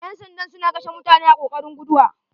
Ƴan sandan suna kashe mutane a kokarin guduwa.